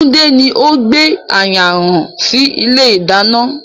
Tunde ni o gbé ayanran sì ilé ìdáná